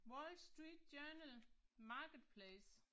Wall Street Journal, marketplace